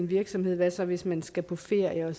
virksomhed hvad så hvis man skal på ferie